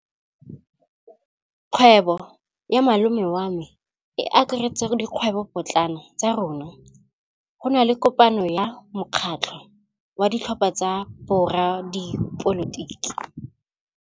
Kgwêbô ya malome wa me e akaretsa dikgwêbôpotlana tsa rona. Go na le kopanô ya mokgatlhô wa ditlhopha tsa boradipolotiki.